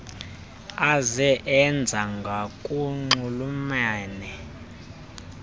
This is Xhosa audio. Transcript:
aze enze ngokunxulumene